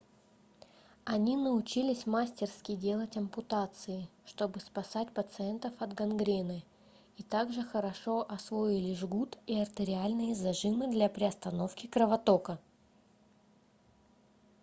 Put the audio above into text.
они научились мастерски делать ампутации чтобы спасать пациентов от гангрены и так же хорошо освоили жгут и артериальные зажимы для приостановки кровотока